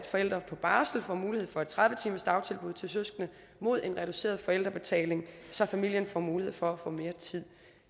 forældre på barsel får mulighed for et tredive timersdagtilbud til søskende mod en reduceret forældrebetaling så familien får mulighed for at få mere tid